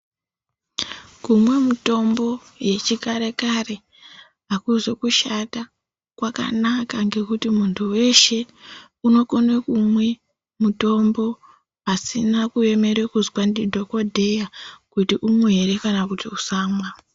Kumwa mutombo yechikare kare akuzi kushata kwakanaka ngekuti muntu unokone kumwe mutombo asina kuemera kuzwa ndidhokodheya kuti umwe ere kana kuti usamwa.